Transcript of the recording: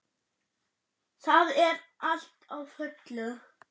Það er allt á fullu.